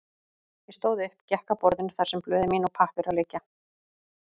Ég stóð upp, gekk að borðinu þar sem blöð mín og pappírar liggja.